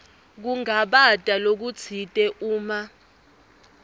kungabata lokutsite uma